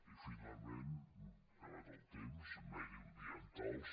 i finalment s’ha acabat el temps mediambientals